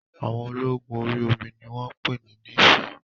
Àwọn ológun orí omi ni wọ́n pè ní néfì